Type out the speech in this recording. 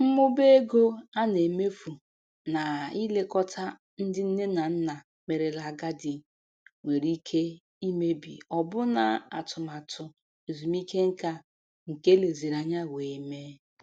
Mmụba ego a na-emefu na-ilekọta ndị nne na nna merela agadi nwere ike imebi ọbụna atụmatụ ezumike nka nke eleziri anya wee mee.